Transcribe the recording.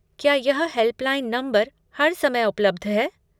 क्या यह helpline number हर समय उपलब्ध है?